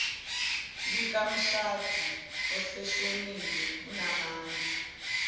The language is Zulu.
likamshadi oseshonile unamandla